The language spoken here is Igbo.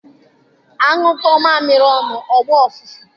Anyụkọọ mamịrị ọnụ ọ gbaa ụfụfụ.